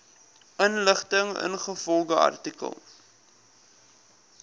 inligting ingevolge artikel